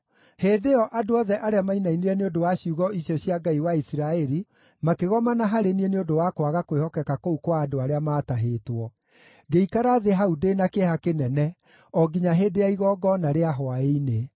Hĩndĩ ĩyo andũ othe arĩa mainainire nĩ ũndũ wa ciugo icio cia Ngai wa Isiraeli makĩgomana harĩ niĩ nĩ ũndũ wa kwaga kwĩhokeka kũu kwa andũ arĩa maatahĩtwo. Ngĩikara thĩ hau ndĩ na kĩeha kĩnene o nginya hĩndĩ ya igongona rĩa hwaĩ-inĩ.